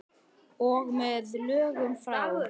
Og með lögum frá